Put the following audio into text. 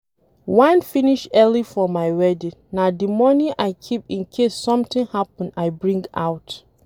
Wine finish early for my wedding na the money I keep in case something happen I bring out.